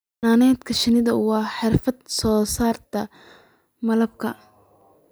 Xannaanada shinnidu waa xirfad soo saarta malabka.